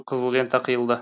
қызыл лента қиылды